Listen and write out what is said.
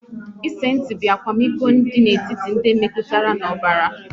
Ịsensti bụ akwamiko dị n'etiti ndị metụtara n'ọbara